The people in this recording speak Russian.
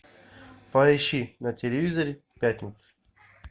поищи на телевизоре пятница